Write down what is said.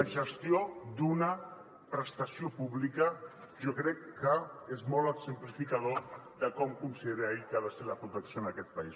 la gestió d’una prestació pública jo crec que és molt exemplificador de com considera ell que ha de ser la protecció en aquest país